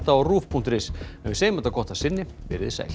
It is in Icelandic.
á rúv punktur is en við segjum þetta gott að sinni veriði sæl